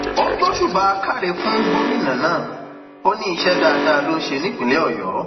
ó gbósùbà káre fún gómìnà náà ó ní iṣẹ dáadáa ló ń ṣe nípínlẹ ọyọ